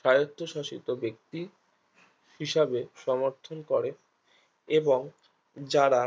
স্বায়ত্তশাসিত ব্যক্তি হিসাবে সমর্থন করে এবং যারা